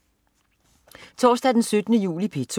Torsdag den 17. juli - P2: